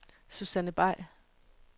Susanne Bay